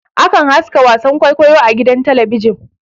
Akan haska wasan kwaikwayo a gidan talabijin